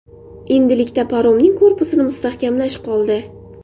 Endilikda paromning korpusini mustahkamlash qoldi.